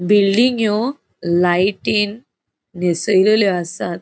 बिल्डिंग्यो लाइटिन नेसयलेल्यो आसात.